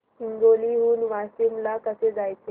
हिंगोली हून वाशीम ला कसे जायचे